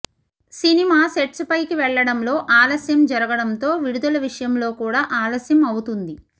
cinema sets పైకి వెళ్లడంలో ఆలస్యం జరగడంతో విడుదల విషయంలో కూడా ఆలస్యం అవుతుంది